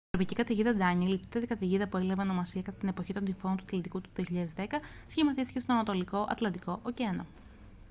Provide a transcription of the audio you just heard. η τροπική καταιγίδα ντανιέλ η τέταρτη καταιγίδα που έλαβε ονομασία κατά την εποχή των τυφώνων του ατλαντικού του 2010 σχηματίστηκε στον ανατολικό ατλαντικό ωκεανό